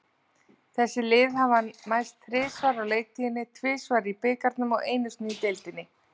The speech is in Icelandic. Þessi lið hafa mæst þrisvar á leiktíðinni, tvisvar í bikarnum og einu sinni í deildinni.